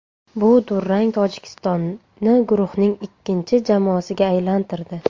Bu durang Tojikistonni guruhning ikkinchi jamoasiga aylantirdi.